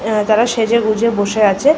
অ্যা তারা সেজেগুজে বসে আছে।